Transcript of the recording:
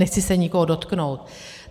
Nechci se nikoho dotknout.